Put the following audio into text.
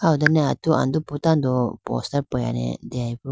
aho done atu andupu tando poster peyane deyaboo.